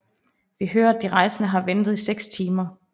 Vi hører at de rejsende har ventet i 6 timer